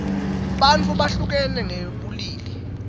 bantfu behlukene ngebulili